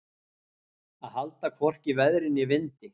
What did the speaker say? Að halda hvorki veðri né vindi